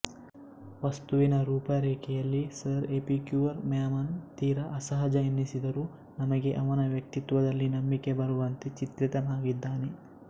ವಸ್ತುವಿನ ರೂಪರೇಖೆಯಲ್ಲಿ sir Epicure Mammon ತೀರ ಅಸಹಜ ಎನ್ನಿಸಿದರೂ ನಮಗೆ ಅವನ ವ್ಯಕ್ತಿತ್ವದಲ್ಲಿ ನಂಬಿಕೆ ಬರುವಂತೆ ಚಿತ್ರಿತನಾಗಿದ್ದಾನೆ